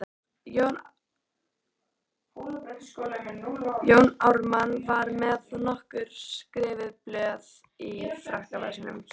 Jón Ármann var með nokkur skrifuð blöð í frakkavasanum.